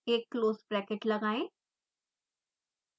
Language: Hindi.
एक क्लोज़ ब्रैकेट लगाएं